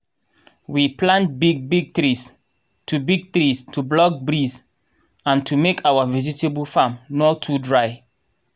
we plant big big trees to big trees to block breeze and to make our vegetable farm nor too dry